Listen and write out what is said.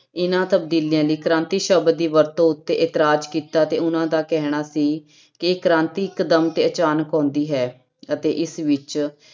ਇਹਨਾਂ ਤਬਦੀਲੀਆਂ ਲਈ ਕ੍ਰਾਂਤੀ ਸ਼ਬਦ ਦੀ ਵਰਤੋਂ ਉੱਤੇ ਇਤਰਾਜ਼ ਕੀਤਾ ਤੇ ਉਹਨਾਂ ਦਾ ਕਹਿਣਾ ਸੀ ਕਿ ਕ੍ਰਾਂਤੀ ਇਕਦਮ ਤੇ ਅਚਾਨਕ ਆਉਂਦੀ ਹੈ ਅਤੇ ਇਸ ਵਿੱਚ